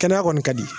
Kɛnɛya kɔni ka di